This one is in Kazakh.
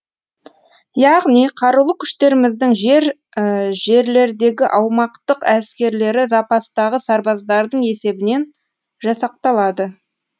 яғни қарулы күштеріміздің жер жерлердегі аумақтық әскерлері запастағы сарбаздардың есебінен жасақталады